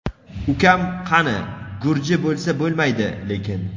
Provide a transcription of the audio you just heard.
Ukam: qani, gurji bo‘lsa bo‘lmaydi lekin.